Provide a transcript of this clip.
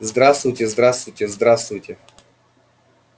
здравствуйте здравствуйте здравствуйте